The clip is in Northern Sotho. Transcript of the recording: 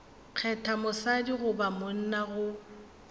kgetha mosadi goba monna go